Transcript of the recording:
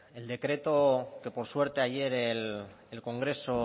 el decreto que por suerte ayer el congreso